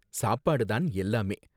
சாப்பாடு தான் எல்லாமே